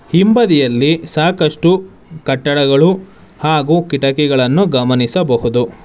ಹಿಂಬದಿಯಲ್ಲಿ ಸಾಕಷ್ಟು ಕಟ್ಟಡಗಳು ಹಾಗೂ ಕಿಟಕಿಗಳನ್ನು ಗಮನಿಸಬಹುದು.